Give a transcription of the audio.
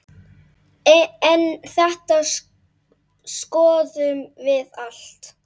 En þetta skoðum við allt.